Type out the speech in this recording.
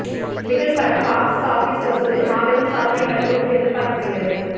பிகில் படம் box office வசூலில் மாபெரும் சாதனை படைக்கும் என்று எதிர்பார்க்கப்படுகிறது